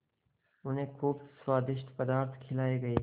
उन्हें खूब स्वादिष्ट पदार्थ खिलाये गये